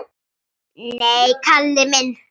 Nei, Kalli minn.